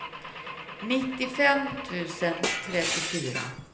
nittiofem tusen trettiofyra